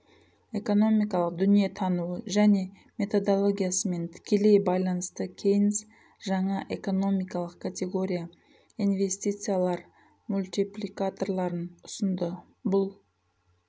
экономикалық дүние таныуы және методологиясымен тікелей байланысты кейнс жаңа экономикалық категория инвестициялар мультипликаторларын ұсынды бұл